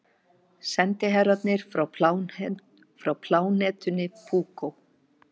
Sendiherrarnir frá plánetunni Púkó.